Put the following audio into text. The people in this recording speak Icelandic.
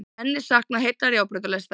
Enn er saknað heillar járnbrautalestar